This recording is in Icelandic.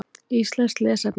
Íslenskt lesefni: